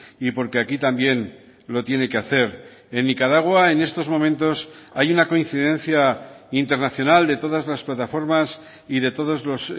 y porque aquí también lo tiene que hacer en nicaragua en estos momentos hay una coincidencia internacional de todas las plataformas y de todos los